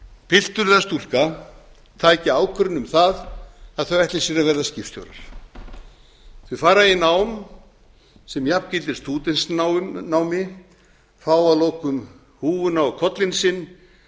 piltur eða stúlka taki ákvörðun um það að þau ætli sér að verða skipstjórar þau fara í nám sem jafngildir stúdentsnámi fá að lokum húfuna á kollinn sinn